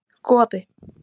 Goði